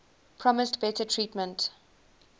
promised better treatment